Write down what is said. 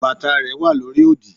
bàtà rẹ wa lórí òdì